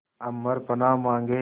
अम्बर पनाहे मांगे